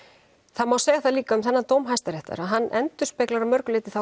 það má segja það líka um þennan dóm hæsta réttar að hann endurspeglar að mörgu leyti þá